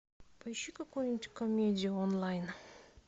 поищи какую нибудь комедию онлайн